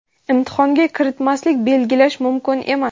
imtihonga kiritmaslik) belgilash mumkin emas.